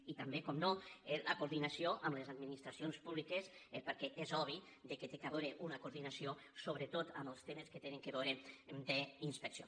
i també com no la coordinació amb les administracions públiques perquè és obvi que hi ha d’haver una coordinació so·bretot en els temes que tenen a veure amb inspecció